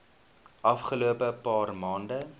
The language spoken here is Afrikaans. afgelope paar maande